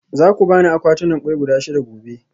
Za ku ba ni akwatunan kwai guda shida gobe?